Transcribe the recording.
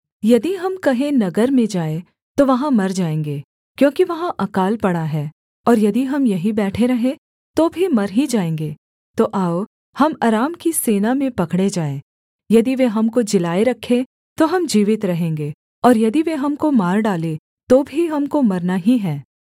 यदि हम कहें नगर में जाएँ तो वहाँ मर जाएँगे क्योंकि वहाँ अकाल पड़ा है और यदि हम यहीं बैठे रहें तो भी मर ही जाएँगे तो आओ हम अराम की सेना में पकड़े जाएँ यदि वे हमको जिलाए रखें तो हम जीवित रहेंगे और यदि वे हमको मार डालें तो भी हमको मरना ही है